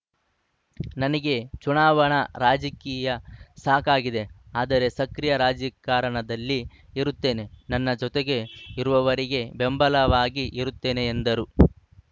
ನನಗೆ ಚುನಾವಣಾ ರಾಜಕೀಯ ಸಾಕಾಗಿದೆ ಆದರೆ ಸಕ್ರಿಯ ರಾಜಿ ಕಾರಣದಲ್ಲಿ ಇರುತ್ತೇನೆ ನನ್ನ ಜೊತೆಗೆ ಇರುವವರಿಗೆ ಬೆಂಬಲವಾಗಿ ಇರುತ್ತೇನೆ ಎಂದರು